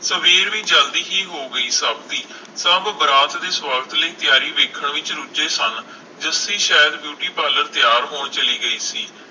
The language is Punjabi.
ਸਵੇਰ ਵੀ ਜਲਦੀ ਹੀ ਹੋ ਗਈ ਸਭ ਦੀ ਸਭ ਬਰਾਤ ਦੀ ਤਿਆਰੀ ਵੇਖਣ ਵਿਚ ਰੁਝੇ ਸਨ ਜੱਸੀ ਸ਼ਾਇਦ ਬਿਊਟੀ ਪਾਰਲਰ ਤਿਆਰ ਹੋਣ ਚਲੀ ਗਈ ਸੀ